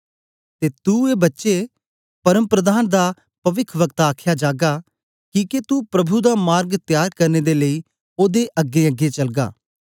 ते तू ए बच्चे परमप्रधान दा पविखवक्तें आख्या जागा किके तू प्रभु दा मार्ग तयार करने दे लेई ओदे अगेंअगें चलगा